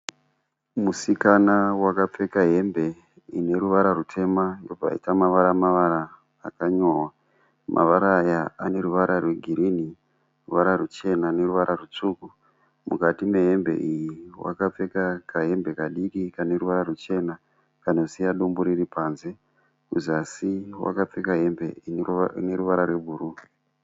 Musikana wakapfeka hembe ineruvara rutema yobva yaita mavara-mavara akanyorwa, Mavara aya aneruvara rwegirini, ruvara ruchena neruvara rutsvuku. Mukati mehembe iyi akapfeka kahembe kadiki kaneruvara ruchena kanosiya dumbu riripanze. Kuzasi akapfeka hembe ineruvara rwebhuruu.